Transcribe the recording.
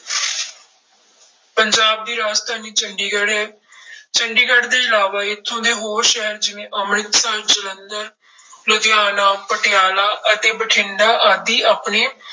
ਪੰਜਾਬ ਦੀ ਰਾਜਧਾਨੀ ਚੰਡੀਗੜ੍ਹ ਹੈ ਚੰਡੀਗੜ੍ਹ ਦੇ ਇਲਾਵਾ ਇੱਥੋਂ ਦੇ ਹੋਰ ਸ਼ਹਿਰ ਜਿਵੇਂ ਅੰਮ੍ਰਿਤਸਰ, ਜਲੰਧਰ, ਲੁਧਿਆਣਾ, ਪਟਿਆਲਾ ਅਤੇ ਬਠਿੰਡਾ ਆਦਿ ਆਪਣੇ